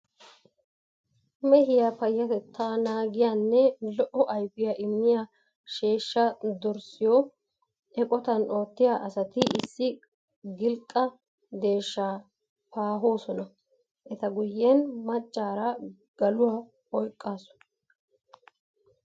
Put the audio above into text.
Mehiya payyatettaa naagiyanne lo"o ayfiya immiya sheeshshaa darissiyo eqotan oottiya asati issi gilqqa deeshshaa paahoosona. Eta guyyen maccaara galuwa oyqqaasu.